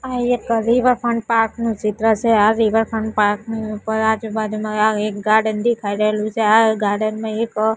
આ એક riverfront park નું ચિત્ર છે આ રિવરફ્રન્ટ પાર્ક ની ઉપર આજુબાજુમાં આ એક ગાર્ડન દેખાય રહેલું છે આ ગાર્ડન માં એક--